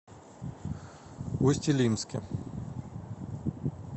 усть илимске